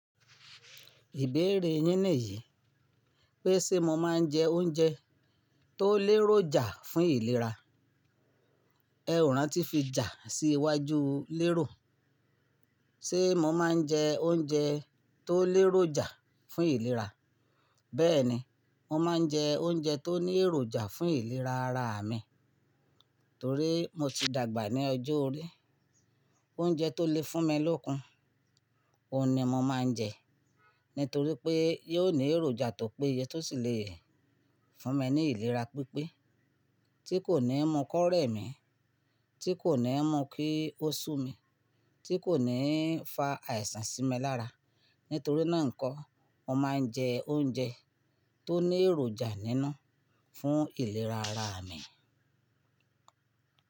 Ìbéèrè yín nìyí pé ṣe mo máa ń jẹ oúnjẹ tó léròjà fún ìlera. Ẹ ò rántí fi jà sí iwájú lérò. Ṣé mo máa ń jẹ oúnjẹ tó léròjà fún ìlera? Bẹ́ẹ̀ni, mo máa ń jẹ oúnjẹ tó ní èròjà fún ìlera ara mi, torí mo ti dàgbà ní ọjọ́ orí. Oúnjẹ tó le fún mi lókun, òun ni mo máa ń jẹ, nítorí pé yóò ní èròjà tó péye tó sì le fún mi ní ìlera pípé, tí kò ní mú ikọ́ rẹ̀ mì, tí kò ní mú kí ó sú mi, tí kò ní fa àìsàn sí mi lára. Nítorí náà nko, mo máa ń jẹ oúnjẹ tó ní èròjà nínu fún ìlera ara mi.